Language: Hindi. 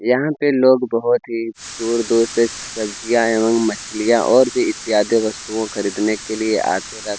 यहाँ पे लोग बहुत ही दूर -दूर से सब्जियाँ एवम मछलियाँ और भी इत्यादि वस्तुओं खरीदने के लिए आते रहते --